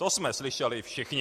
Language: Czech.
To jsme slyšeli všichni.